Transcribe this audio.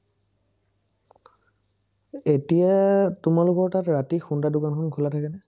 এতিয়া তোমালোকৰ তাত ৰাতি সোণদাৰ দোকানখন খোলা থাকেনে?